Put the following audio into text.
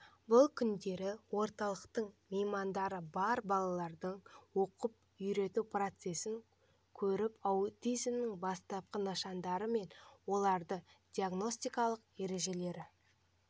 бұл күндері орталықтың меймандары бар балаларды оқып-үйрету процесін көріп аутизмнің бастапқы нышандары мен оларды диагностикалау ережелері